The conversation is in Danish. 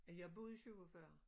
Jeg boede i 47